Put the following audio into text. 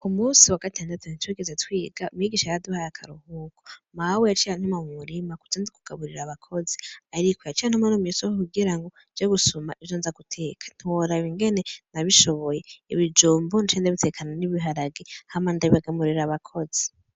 Umunsi wa gatandatu ntitwigeze twiga, umwigisha yaraduhaye akaruhuko, Mawe yaciy' antuma mu murima nze kugaburir 'abakozi, ariko yaciy' antuma mw' isoko kugirango nje gusum' ivyonza guteka ntiworab' ingene nabishoboy' ibijumbu naciye ndabitekana n' ibiharage hama ndabigaburir' abakozi.